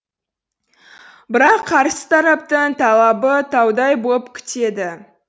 бірақ қарсы тараптың талабы таудай боп кетеді